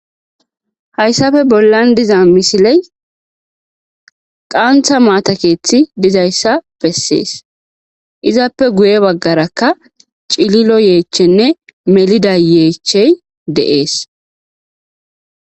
Hayssafe bollan diza misiley qaantha maatakeethi dizayssa bessees izappe guye baggarakka cililo yeechchenne melida yeechey deees.